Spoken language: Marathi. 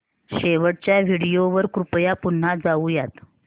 शेवटच्या व्हिडिओ वर कृपया पुन्हा जाऊयात